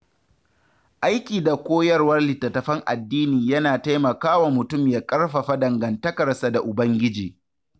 Aiki da koyarwar littattafan addini yana taimakawa mutum ya ƙarfafa dangantakarsa da Ubangiji.